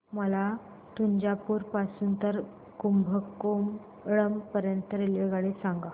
मला तंजावुर पासून तर कुंभकोणम पर्यंत ची रेल्वेगाडी सांगा